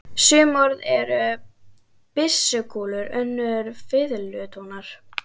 Sum orð eru byssukúlur, önnur fiðlutónar.